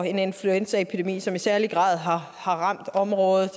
en influenzaepidemi som i særlig grad har ramt området